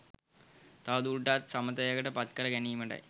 තවදුරටත් සමතයකට පත්කර ගැනීමටයි.